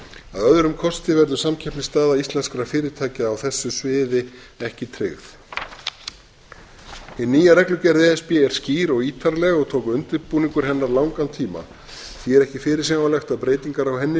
öðrum kosti verður samkeppnisstaða íslenskra fyrirtækja á þessu sviði ekki tryggð hin nýja reglugerð e s b er skýr og ítarleg tók undirbúningur hennar langan tíma því er ekki fyrirsjáanlegt að breytingar á henni